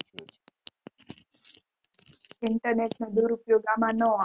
internet નો દુરુપયોગ અમાં ન આવે